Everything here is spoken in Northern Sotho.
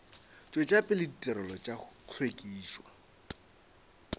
tšwetša pele ditirelo tša hlwekišo